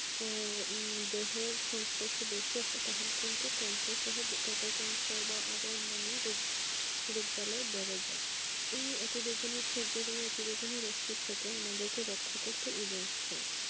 হম দেহের সঙ্গস্পর্শে তাহলে কিন্তু ক্যান্সার বা অন্যান্য রোগ বেড়ে যায় এই অতি বেগুনি রশ্নির সাথে আমাদের রক্ষা তথ্য ওজোন স্তর